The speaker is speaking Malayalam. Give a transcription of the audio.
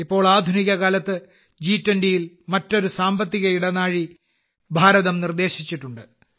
ഇപ്പോൾ ആധുനികകാലത്ത് ജി20യിൽ മറ്റൊരു സാമ്പത്തിക ഇടനാഴി ഭാരതം നിർദേശിച്ചിട്ടുണ്ട്